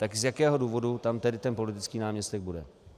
Tak z jakého důvodu tam tedy ten politický náměstek bude?